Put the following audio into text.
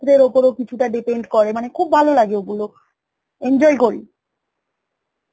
ওপরও কিছটা depend করে খুব ভালো লাগে ওগুলো, enjoy করি